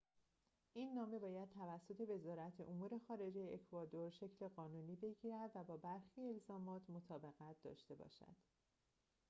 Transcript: این نامه باید توسط وزارت امور خارجه اکوادور شکل قانونی بگیرد و با برخی الزامات مطابقت داشته باشد